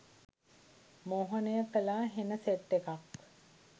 මෝහනය කලා හෙන සෙට් එකක්